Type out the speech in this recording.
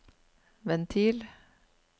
ventil